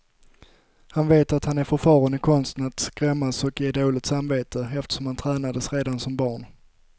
Han vet att han är förfaren i konsten att skrämmas och ge dåligt samvete, eftersom han tränades redan som barn.